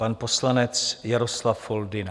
Pan poslanec Jaroslav Foldyna.